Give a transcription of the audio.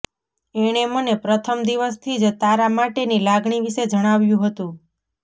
એણે મને પ્રથમ દિવસથી જ તારા માટેની લાગણી વિશે જણાવ્યું હતું